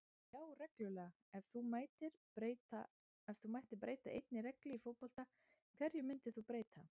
Já reglulega Ef þú mættir breyta einni reglu í fótbolta, hverju myndir þú breyta?